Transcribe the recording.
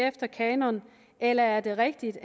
efter kanonen eller er det rigtigt